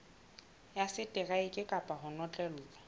ya seteraeke kapa ho notlellwa